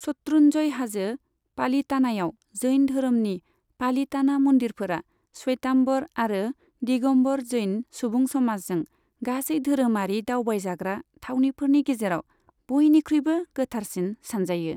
शत्रुन्जय हाजो, पालीतानायाव जैन धोरोमनि पालिताना मन्दिरफोरा, श्वेताम्बर आरो दिगम्बर जैन सुबुं समाजजों गासै धोरोमारि दावबायजाग्रा थावनिफोरनि गेजेराव बयनिख्रुयबो गोथारसिन सानजायो।